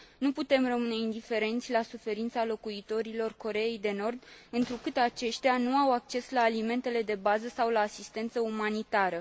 Nu putem rămâne indiferenți la suferința locuitorilor Coreei de Nord, întrucât aceștia nu au acces la alimentele de bază sau la asistență umanitară.